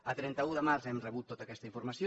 el trenta un de març hem rebut tota aquesta informació